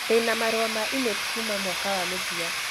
Ndĩ na marũa ma e-mail kuuma mwaka wa mũthia